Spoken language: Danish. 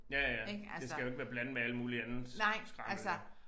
Ja ja det skal jo ikke være blandet med alt muligt andet skrammel